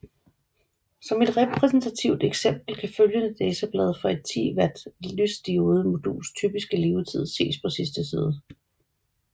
Som et repræsentativt eksempel kan følgende datablad for et 10W lysdiodemoduls typiske levetid ses på sidste side